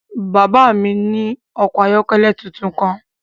Bàbá mi ní ọkọ̀ ayọ́kẹ́lẹ́ tuntun kan.